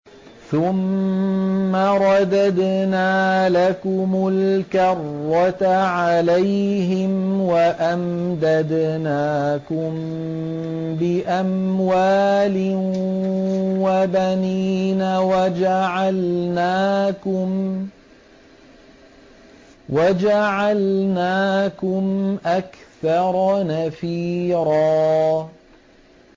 ثُمَّ رَدَدْنَا لَكُمُ الْكَرَّةَ عَلَيْهِمْ وَأَمْدَدْنَاكُم بِأَمْوَالٍ وَبَنِينَ وَجَعَلْنَاكُمْ أَكْثَرَ نَفِيرًا